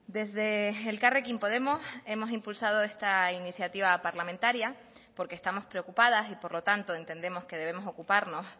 desde elkarrekin podemos hemos impulsado esta iniciativa parlamentaria porque estamos preocupadas y por lo tanto entendemos que debemos ocuparnos